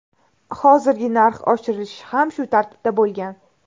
Hozirgi narx oshirilishi ham shu tartibda bo‘lgan.